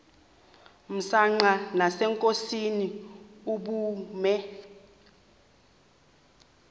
msanqa nasenkosini ubume